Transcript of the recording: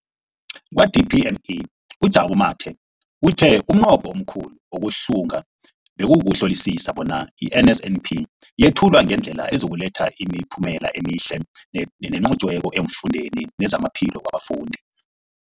Kwa-DPME, uJabu Mathe, uthe umnqopho omkhulu wokuhlunga bekukuhlolisisa bona i-NSNP yethulwa ngendlela ezokuletha imiphumela emihle nenqotjhiweko efundweni nezamaphilo wabafundi.